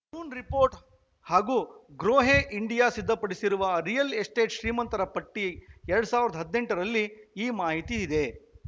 Hurun report ಹಾಗೂ Grohe India ಸಿದ್ಧಪಡಿಸಿರುವ real estate ಶ್ರೀಮಂತರ ಪಟ್ಟಿ ಎರಡ್ ಸಾವಿರದ ಹದಿನೆಂಟರಲ್ಲಿ ಈ ಮಾಹಿತಿ ಇದೆ